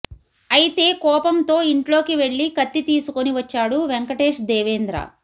అయితే కోపంతో ఇంట్లోకి వెళ్ళి కత్తి తీసుకొని వచ్చాడు వెంకటేష్ దేవేంద్ర